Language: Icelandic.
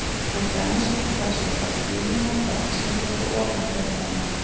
Til dæmis var talsvert af Svíum á ferð sem tóku ofan fyrir henni.